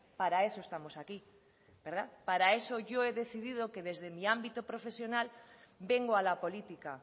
para eso estamos aquí para eso yo he decidido que desde mi ámbito profesional vengo a la política